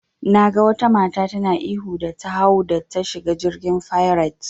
Naga wata mata tana ihu da ta hau da ta shiga jirgin fairet.